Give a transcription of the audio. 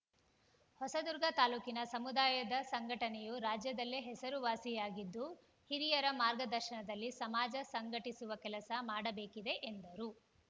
ಹೊಸದುರ್ಗ ತಾಲೂಕಿನ ಸಮುದಾಯದ ಸಂಘಟನೆಯು ರಾಜ್ಯದಲ್ಲೇ ಹೆಸರುವಾಸಿಯಾಗಿದ್ದು ಹಿರಿಯರ ಮಾರ್ಗದರ್ಶನದಲ್ಲಿ ಸಮಾಜ ಸಂಘಟಿಸುವ ಕೆಲಸ ಮಾಡಬೇಕಿದೆ ಎಂದರು